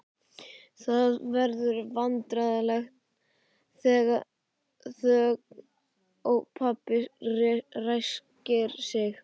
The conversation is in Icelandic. Það verður vandræðaleg þögn og pabbi ræskir sig.